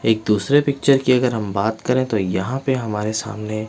एक दूसरे पिक्चर की अगर हम बात करें तो यहाँ पे हमारे सामने--